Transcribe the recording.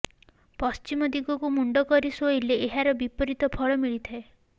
ପଶ୍ଚିମ ଦିଗକୁ ମୁଣ୍ଡ କରି ଶୋଇଲେ ଏହାର ବିପରୀତ ଫଳ ମିଳିଥାଏ